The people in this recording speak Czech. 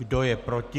Kdo je proti?